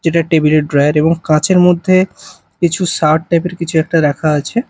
যেটা টেবিল -এর ড্রয়ার এবং কাচের মধ্যে কিছু শাওয়ার টাইপ -এর কিছু একটা রাখা আছে।